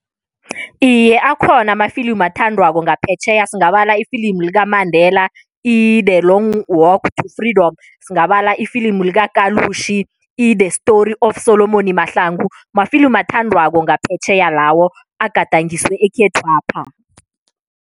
Iye, akhona amafilimu athandwako ngaphetjheya. Singabala ifilimu likaMandela i-The Long to Freedom, singabala ifilimu likaKalushi i-The Story of Solomon Mahlangu, mafilimu athandwako ngaphetjheya lawo, agandangiswe ekhethwapha.